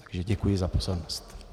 Takže děkuji za pozornost.